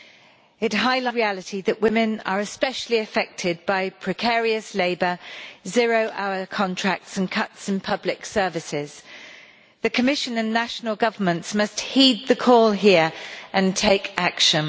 It highlights the sad reality that women are especially affected by precarious labour, zero hour contracts and cuts in public services. The Commission and national governments must heed the call here and take action.